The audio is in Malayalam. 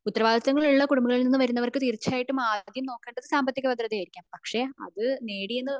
ഉത്തരവാദിത്വങ്ങൾ ഉള്ള കുടുംബങ്ങളിൽ നിന്ന് വരുന്നവർക് തീർച്ചയായും ആദ്യം നോക്കേണ്ടത് സാമ്പത്തിക ഭദ്രത ആയിരിക്കാം പക്ഷെ അത് നേടിയെന്ന്